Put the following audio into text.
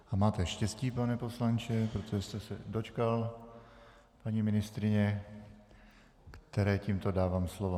A máte štěstí, pane poslanče, protože jste se dočkal paní ministryně, které tímto dávám slovo.